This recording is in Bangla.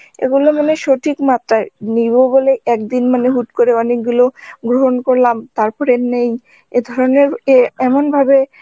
এগুলো মানে সঠিক মাত্রায় নিব বলে একদিন মানে হুট করে অনেক গুলো গ্রহণ করলাম, তারপরে নেই, এধরনের এ এমন ভাবে